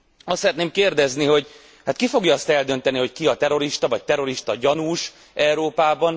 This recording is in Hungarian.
Azt szeretném kérdezni, hogy ki fogja azt eldönteni, hogy ki a terrorista vagy terroristagyanús Európában?